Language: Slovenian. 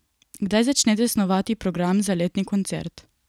Kdaj začnete snovati program za letni koncert?